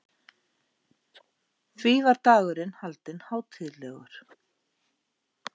Því var dagurinn haldinn hátíðlegur.